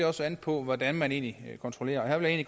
også an på hvordan man egentlig kontrollerer her vil jeg